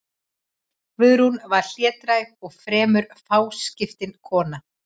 Guðrún var hlédræg og fremur fáskiptin kona.